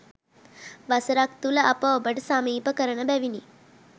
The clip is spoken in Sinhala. වසරක් තුළ අප ඔබට සමීප කරන බැවිනි.